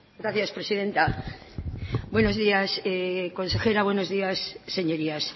gracias presidenta buenos días consejera buenos días señorías